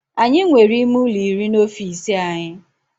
Anyị nwere ime ụlọ iri n'ofisi anyị